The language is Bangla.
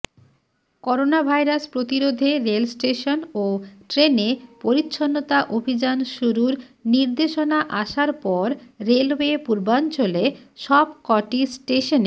করোনাভাইরাস প্রতিরোধে রেলস্টেশন ও ট্রেনে পরিচ্ছন্নতা অভিযান শুরুর নির্দেশনা আসার পর রেলওয়ে পূর্বাঞ্চলে সবকটি স্টেশনে